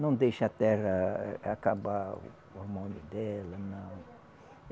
Não deixa a terra acabar o hormônio dela, não.